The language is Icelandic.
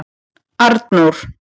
Arnór